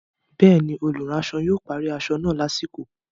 Bẹ́ẹ̀ni, olùránsọ yóò parí aṣọ náà lásìkò